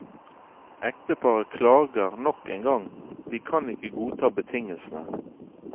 Ekteparet klager nok en gang, de kan ikke godta betingelsene.